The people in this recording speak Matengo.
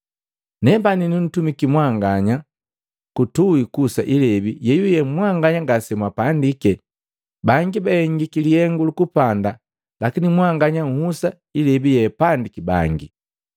Nepani nutumiki mwanganya kutuhi kuhusa ilebi yeyuye mwanganya ngasemwapandike, bangi bahengiki lihengu lukupanda lakini mwanganya uhusa ilebi yeapandiki bangi.”